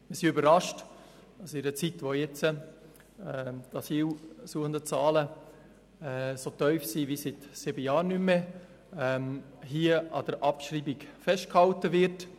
Wir sind überrascht, dass in einer Zeit, in welcher die Anzahl der Asylgesuche so tief wie seit sieben Jahren nicht mehr ist, an der Nichtabschreibung festgehalten wird.